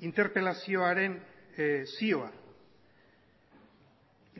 interpelazioaren zioa